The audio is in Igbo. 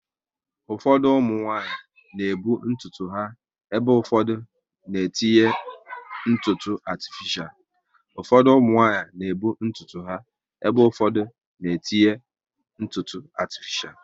Ụfọdụ ụmụnwanyị na ebu ntutu ha ebe ụfọdụ n'etinye ntutu atifishal